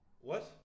What!